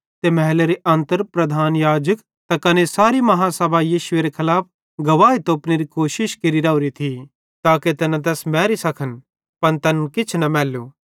मेहलेरे अन्तर प्रधान याजक त कने सारे अदालतीबाले यीशुएरे खलाफ गवाही तोपनेरी कोशिश केरि राओरे थिये ताके तैना तैस मैरी सकन पन तैनन् किछ न मैल्लू